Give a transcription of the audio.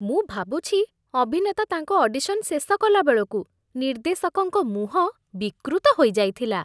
ମୁଁ ଭାବୁଛି ଅଭିନେତା ତାଙ୍କ ଅଡିସନ୍ ଶେଷ କଲାବେଳକୁ ନିର୍ଦ୍ଦେଶକଙ୍କ ମୁହଁ ବିକୃତ ହୋଇଯାଇଥିଲା।